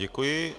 Děkuji.